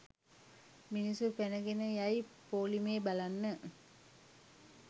මිනිස්සු පැනගෙන යයි පොලිමේ බලන්න